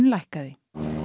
lækkaði